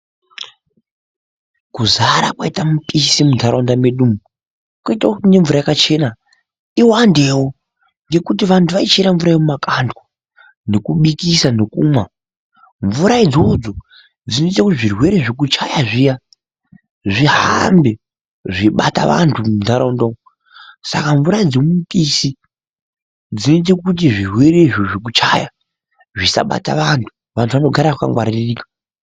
Kuzara kwaita mipisi muntharaunda medu kuite kuti nemvura yakachena iwandewo ngekuti vanthu vaichera mvura yemumakandwa nekubikisa nekumwa. Mvura idzodzo dzinoite kuti zvirwere zvekuchaya zviya zvihambe zviibata vanthu muntharaunda umu. Saka mvura dzemumupisi dzinoite kuti zvirwere izvo zvekuchaya zvisabata vanthu. Vanthu vanogara vakangwaririka.